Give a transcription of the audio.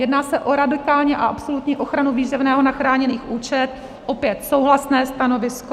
Jedná se o radikální a absolutní ochranu výživného na chráněný účet, opět souhlasné stanovisko.